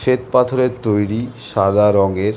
স্বেত পাথরের তৈরী সাদা রংয়ের --